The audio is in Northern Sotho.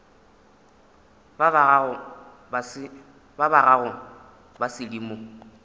ba ba gago ba sedimo